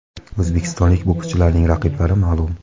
O‘zbekistonlik bokschilarning raqiblari ma’lum.